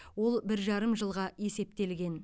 ол бір жарым жылға есептелген